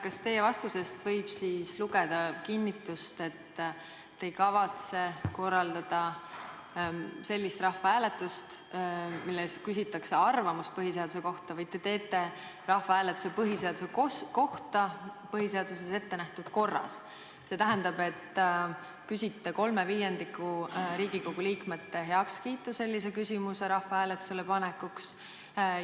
Kas teie vastusest võib siis lugeda kinnitust, et te ei kavatse korraldada sellist rahvahääletust, kus küsitakse arvamust põhiseaduse kohta, vaid te teete rahvahääletuse põhiseaduse kohta põhiseaduses ettenähtud korras, see tähendab, et küsite kolme viiendiku Riigikogu liikmete heakskiitu sellise küsimuse rahvahääletusele panekuks?